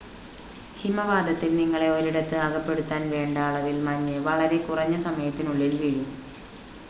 ഹിമവാതത്തിൽ നിങ്ങളെ ഒരിടത്ത് അകപ്പെടുത്താൻ വേണ്ട അളവിൽ മഞ്ഞ് വളരെ കുറഞ്ഞ സമയത്തിനുള്ളിൽ വീഴും